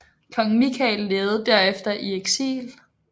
Kong Mikael levede derefter i eksil